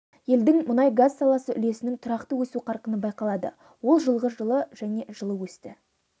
елдің мұнай-газ саласы үлесінің тұрақты өсу қарқыны байқалады ол жылғы жылы және жылы өсті